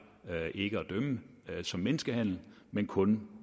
ikke at dømme som menneskehandel men kun